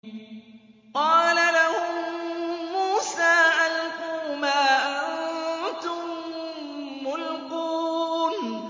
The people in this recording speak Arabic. قَالَ لَهُم مُّوسَىٰ أَلْقُوا مَا أَنتُم مُّلْقُونَ